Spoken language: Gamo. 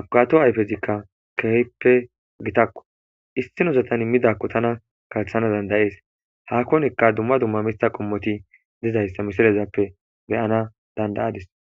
abkato ayfezikka kehppe gitakko istinosatan immidakko tana kalthana dandayees hakkonekka dumma dumma mista qommoti dizayssa misilezappe beyana dandayadis